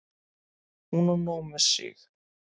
Hún á nóg með sig.